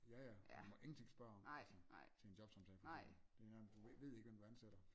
Ja ja du må ingenting spørge om altså til en jobsamtale fordi det er du ved ikke hvem du ansætter